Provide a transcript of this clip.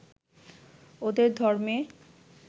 ওদের ধর্মে